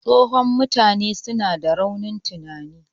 Tsohon mutane suna da raunin tunani